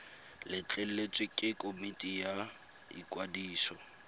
letleletswe ke komiti ya ikwadiso